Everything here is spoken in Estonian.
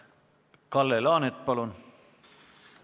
Kalle Laanet, palun!